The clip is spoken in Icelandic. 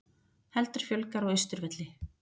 Heldur fjölgar á Austurvelli